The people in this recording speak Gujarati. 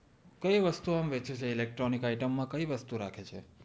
કે વસ્તુ આમ વેચે છે ઇલેક્ટ્રોનિક આઈટમ માં કય વસ્તુ રાખે છે